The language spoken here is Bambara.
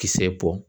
Kisɛ bɔ